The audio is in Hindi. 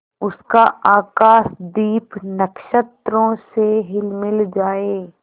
उसका आकाशदीप नक्षत्रों से हिलमिल जाए